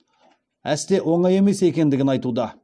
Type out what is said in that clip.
әсте оңай емес екендігін айтуда